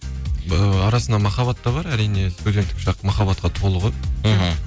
ыыы арасында махаббат та бар әрине студенттік шақ махаббатқа толы ғой мхм